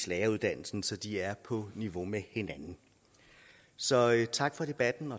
læreruddannelsen så de er på niveau med hinanden så tak for debatten